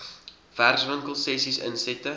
werkswinkel sessies insette